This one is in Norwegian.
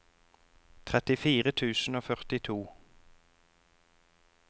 trettifire tusen og førtito